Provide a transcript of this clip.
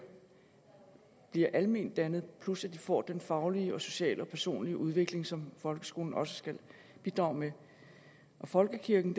de bliver almendannet plus at de får den faglige sociale og personlige udvikling som folkeskolen også skal bidrage med folkekirken